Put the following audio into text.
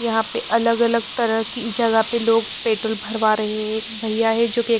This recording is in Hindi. यहाँ पे अलग-अलग तरह की जगह पे लोग पेट्रोल भरवा रहे हैं एक भैया है जो कि--